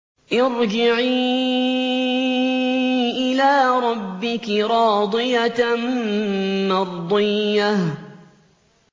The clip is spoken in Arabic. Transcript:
ارْجِعِي إِلَىٰ رَبِّكِ رَاضِيَةً مَّرْضِيَّةً